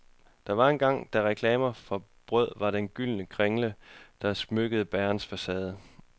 Der var engang, da reklame for brød var den gyldne kringle, der smykkede bagerens facade.